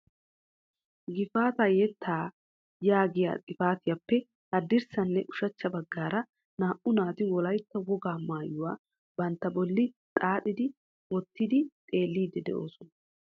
" Gifaata yettaa " yaagiyaa xifatiyaappe haddirssanne ushachcha baggaara naa''u naati wolaytta wogaa maayuwa bantta bolli xaaxxidi wottidi xeellidi de'oosona.